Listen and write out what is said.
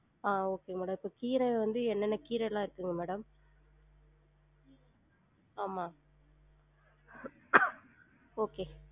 ஆஹ் okay madam இப்ப கீர வந்து எனென்ன கீரலாம் இருக்குங்க madam? ஆமா okay